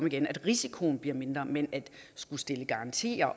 igen så risikoen bliver mindre men at skulle stille garantier